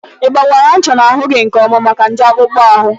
Ịgbakwaara ncha n'ahụ gị nkeọma maka nje akpụkpọ ahụ?